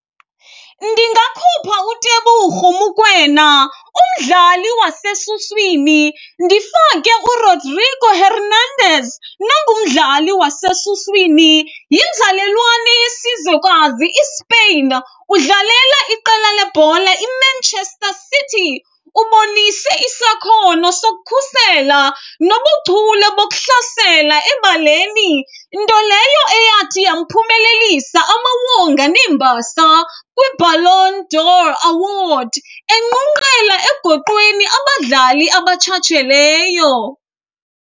Ndingakhupha uTeboho Mokoena umdlali wasesuswini ndifake uRodrigo Hernandez nongumdlali wasesuswini. Yinzalelwane yesizwekazi iSpain, udlalela iqela lebhola iManchester City. Ubonise isakhono sokukhusela nobuchule bokuhlasela ebaleni, nto leyo eyathi yamphumelelisa amawonga neembasa kwiBallon d'Or Award, enqunqela egoqweni abadlali abatshatsheleyo.